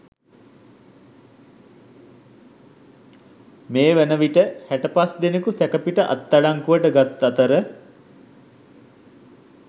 මේ වන විට හැටපස්දෙනකු සැකපිට අත්අඩංගුවට ගත් අතර